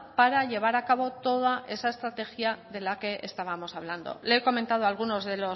para llevar a cabo toda esa estrategia de la que estábamos hablando le he comentado algunas